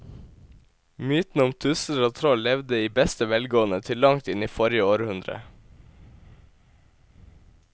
Mytene om tusser og troll levde i beste velgående til langt inn i forrige århundre.